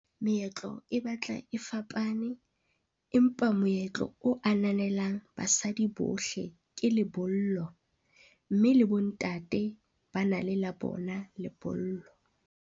Meetlo e batla e fapane, empa moetlo o ananelang basadi bohle ke lebollo mme le bo ntate bana le la bona, lebollo.